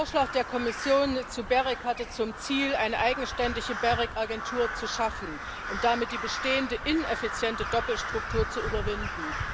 Der Vorschlag der Kommission zum GEREK hatte zum Ziel, eine eigenständige GEREK Agentur zu schaffen und damit die bestehende ineffiziente Doppelstruktur zu überwinden.